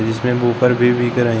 जिसमें वूफर भी बिक रहे--